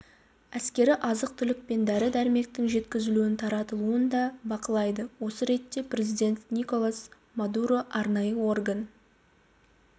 әскері азық-түлік пен дәрі-дәрмектің жеткізілуін таратылуын да бақылайды осы ретте президент николас мадуро арнайы орган